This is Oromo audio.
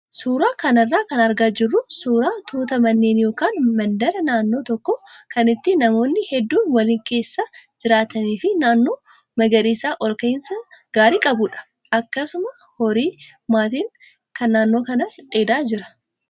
Suuraa kana irraa kan argaa jirru suuraa tuuta manneenii yookaan mandaraa naannoo tokkoo kan itti namoonni hedduun waliin keessa jiraatanii fi naannoo magariisa ol ka'iinsa gaarii qabudha. Akkasuma horiin maatii kanaa naannoo dheedaa jiru.